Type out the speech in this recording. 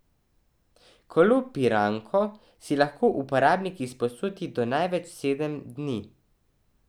Kolo Piranko si lahko uporabnik izposodi do največ sedem dni.